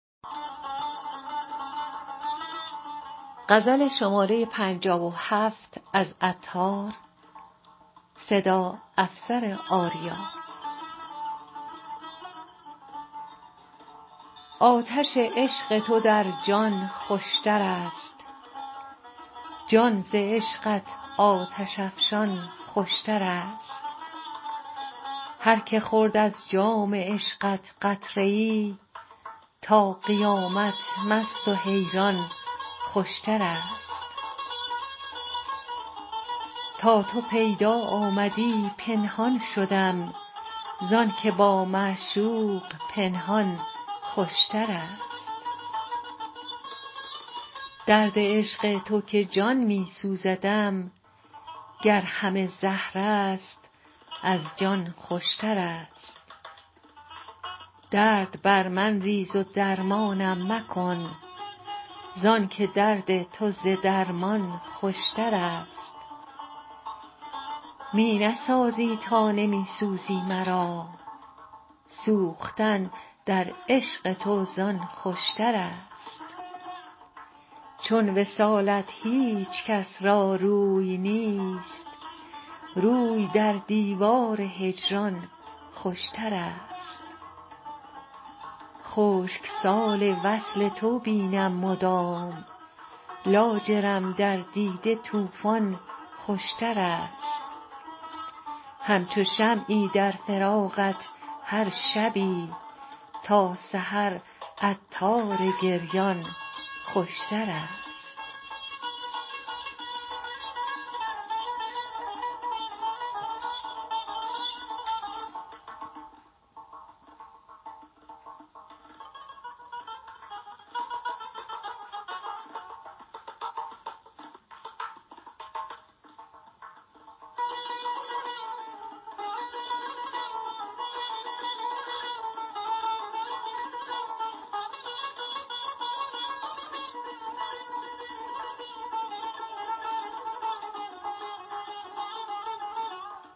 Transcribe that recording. آتش عشق تو در جان خوشتر است جان ز عشقت آتش افشان خوشتر است هر که خورد از جام عشقت قطره ای تا قیامت مست و حیران خوشتر است تا تو پیدا آمدی پنهان شدم زانکه با معشوق پنهان خوشتر است درد عشق تو که جان می سوزدم گر همه زهر است از جان خوشتر است درد بر من ریز و درمانم مکن زانکه درد تو ز درمان خوشتر است می نسازی تا نمی سوزی مرا سوختن در عشق تو زان خوشتر است چون وصالت هیچکس را روی نیست روی در دیوار هجران خوشتر است خشک سال وصل تو بینم مدام لاجرم در دیده طوفان خوشتر است همچو شمعی در فراقت هر شبی تا سحر عطار گریان خوشتر است